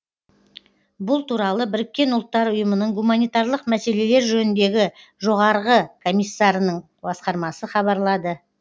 бұл туралы біріккен ұлттар ұйымының гуманитарлық мәселелер жөніндегі жоғарғы комиссарының басқармасы хабарлады